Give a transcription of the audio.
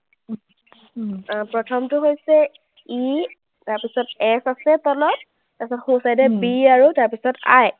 আহ প্ৰথমটো হৈছে E তাৰপিছত S আছে তলত, তাৰপিছত সোঁ side এ B আৰু তাৰপিছত I